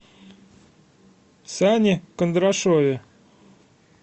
сане кондрашове